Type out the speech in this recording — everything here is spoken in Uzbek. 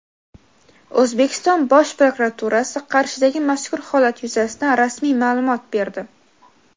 O‘zbekiston Bosh prokuraturasi Qarshidagi mazkur holat yuzasidan rasmiy ma’lumot berdi.